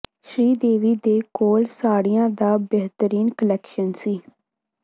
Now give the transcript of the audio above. ਸ਼੍ਰੀ ਦੇਵੀ ਦੇ ਕੋਲ ਸਾੜੀਆਂ ਦਾ ਬਿਹਤਰੀਨ ਕਲੈਕਸ਼ਨ ਸੀ